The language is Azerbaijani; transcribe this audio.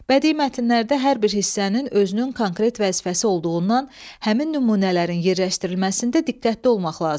Bədii mətnlərdə hər bir hissənin özünün konkret vəzifəsi olduğundan həmin nümunələrin yerləşdirilməsində diqqətli olmaq lazımdır.